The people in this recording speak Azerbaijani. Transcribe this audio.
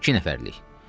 İki nəfərlik.